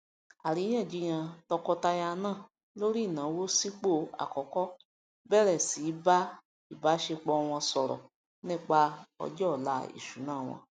àríyànjiyàn tọkọtaya náà lórí ìnáwó sìpò àkọkọ bẹrẹ sí í bá ìbáṣepọ wọn sọrọ nípa ọjọ ọla ìṣúná wọn